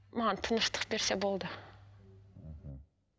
маған тыныштық берсе болды мхм